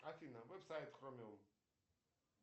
афина веб сайт хромиум